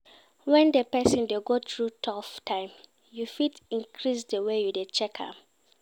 When di persin de go through though time you fit increase di way you de check am